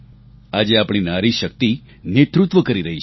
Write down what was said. આજે આપણી નારીશક્તિ નેતૃત્વ કરી રહી છે